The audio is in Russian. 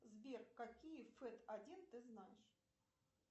сбер какие фэт один ты знаешь